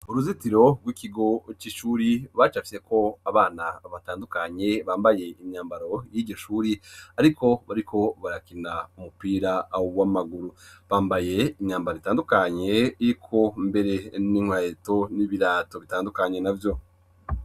Uruzitiro rw'ikigo c'ishure bacafyeko abana batandukanye bambaye imyambaro y'iryo shure ariko bariko barakina umupira w'amaguru. Bambaye imyambaro itandukanye iriko mbere n'inkweto n'ibirato bitandukanye na vyo.